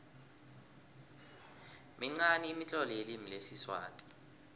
minqani imitlolo yelimi lesiswati